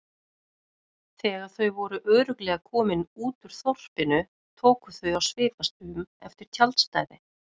Þegar þau voru örugglega komin út úr þorpinu tóku þau að svipast um eftir tjaldstæði.